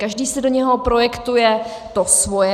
Každý si do něho projektuje to svoje.